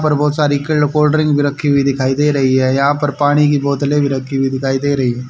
ऊपर बहोत सारी कोल्डड्रिंक रखी हुई दिखाई दे रही है यहां पर पानी की बोतले भी रखी हुई दिखाई दे रही--